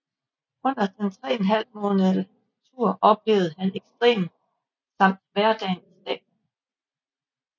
Under den tre en halv måned tur oplevede han ekstremer samt hverdagen i staterne